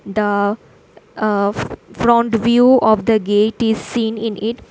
The front view of the gate is seen in it.